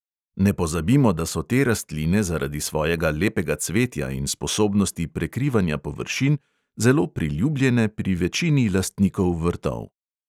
Ne pozabimo, da so te rastline zaradi svojega lepega cvetja in sposobnosti prekrivanja površin zelo priljubljene pri večini lastnikov vrtov.